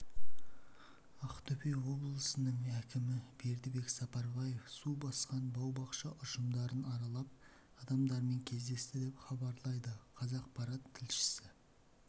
ақтөбе облысының әкімі бердібек сапарбаев су басқан бау-бақша ұжымдарын аралап адамдармен кездесті деп хабарлайды қазақпарат тілшісі